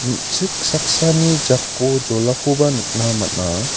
me·chik saksani jako jolakoba nikna man·a.